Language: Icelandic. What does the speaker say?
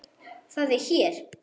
Það er hér.